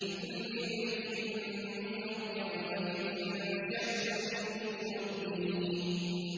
لِكُلِّ امْرِئٍ مِّنْهُمْ يَوْمَئِذٍ شَأْنٌ يُغْنِيهِ